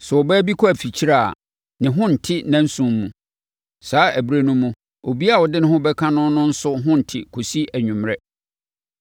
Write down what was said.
“ ‘Sɛ ɔbaa kɔ afikyire a, ne ho nte nnanson mu. Saa ɛberɛ no mu, obiara a ɔde ne ho bɛka no no nso ho nte kɔsi anwummerɛ.